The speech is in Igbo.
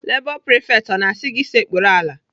Lebọ prifekt ọ na-asị gị sekpuru ala?